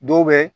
Dɔw bɛ